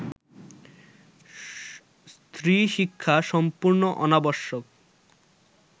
স্ত্রীশিক্ষা সম্পূর্ণ অনাবশ্যক